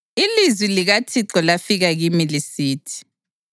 Ilizwi likaThixo lafika kimi lisithi: